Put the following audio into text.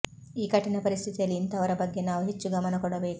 ಈ ಕಠಿಣ ಪರಿಸ್ಥಿತಿಯಲ್ಲಿ ಇಂತಹವರ ಬಗ್ಗೆ ನಾವು ಹೆಚ್ಚು ಗಮನ ಕೊಡಬೇಕು